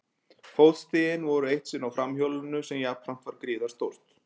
Fótstigin voru eitt sinn á framhjólinu sem jafnframt var gríðarstórt.